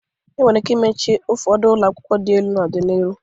E nwere ike imeche ụfọdụ ụlọakwụkwọ dị enu n'ọdị n'iru.